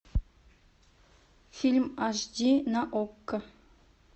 фильм аш ди на окко